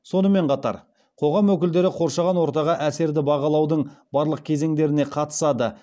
сонымен қатар қоғам өкілдері қоршаған ортаға әсерді бағалаудың барлық кезеңдеріне қатысады